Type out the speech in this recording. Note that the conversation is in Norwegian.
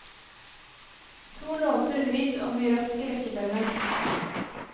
To låser vridd om i rask rekkefølge.